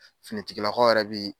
Finitigilakaw yɛrɛ bi